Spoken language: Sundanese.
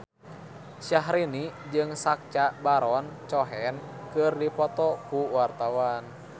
Syahrini jeung Sacha Baron Cohen keur dipoto ku wartawan